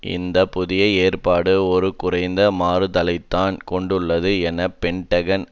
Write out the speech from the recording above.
இந்த புதிய ஏற்பாடு ஒரு குறைந்த மாறுதலைத்தான் கொண்டுள்ளது என பென்டகன்